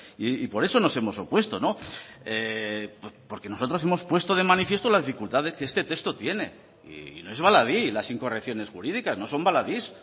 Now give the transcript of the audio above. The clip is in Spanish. y por eso nos hemos opuesto no porque nosotros hemos puesto de manifiesto la dificultad que este texto tiene y no es baladí las incorrecciones jurídicas no son baladís